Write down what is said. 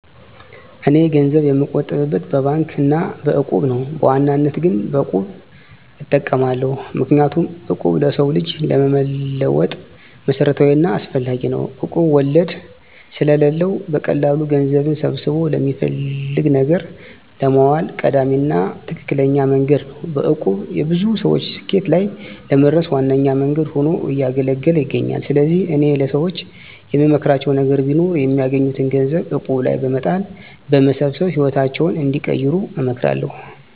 እኔ ገንዘብ የምቆጥብበት በባንክ አና በእቁብ ነው። በዋናነት ግን በቁብ እጠቀማለሁ። ምክንያቱም እቁብ ለሰው ልጅ ለመለወጥ መሰረታዊና አስፈላጊ ነው። እቁብ ወለድ ስለለው በቀላሉ ገንዘብን ሰብስቦ ለሚፈለግ ነገር ለማዋል ቀዳሚና ትክክለኛ መንገድ ነው። በእቁብ የብዙ ሰወች ስኬት ላይ ለመድረስ ዋነኛ መንገድ ሁኖ እያገለገለ ይገኛል። ስለዚህ እኔ ለሰወች የምመክራቸው ነገር ቢኖር የሚያገኙትን ገንዘብ እቁብ ላይ በመጣል በመሰብሰብ ህይወታቸውን እንዲቀይሩ እመክራለሁ።